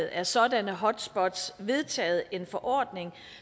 af sådanne hotspots vedtaget en forordning